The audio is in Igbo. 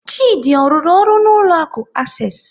Chidi ọ rụrụ ọrụ n'ụlọ akụ Access?